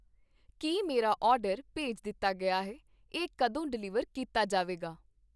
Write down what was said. ਕੀ ਮੇਰਾ ਆਰਡਰ ਭੇਜ ਦਿੱਤਾ ਗਿਆ ਹੈ? ਇਹ ਕਦੋਂ ਡਿਲੀਵਰ ਕੀਤਾ ਜਾਵੇਗਾ?